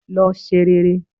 Lọ se rere